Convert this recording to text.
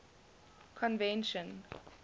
convention